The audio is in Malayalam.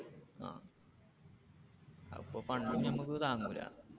അപ്പൊ fund ഉം നമുക്ക് താങ്ങൂല